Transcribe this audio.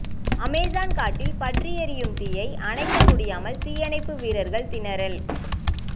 Amazon காட்டில் பற்றி எரியும் தீயை அணைக்க முடியாமல் தீயணைப்பு வீரர்கள் திணறல்